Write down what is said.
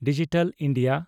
digital India